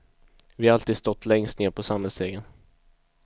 Vi har alltid stått längst ned på samhällsstegen.